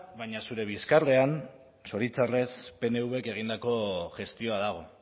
baina zure bizkarrean zoritxarrez pnvk egindako gestioa dago